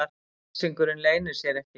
Æsingurinn leynir sér ekki.